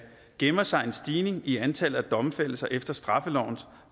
gemmer sig en stigning i antallet af domfældelser efter straffelovens